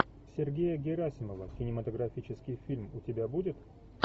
сергея герасимова кинематографический фильм у тебя будет